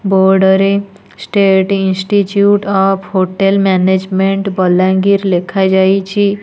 Board ରେ state institute of hotel management Balangir ଲେଖା ଯାଇଛି।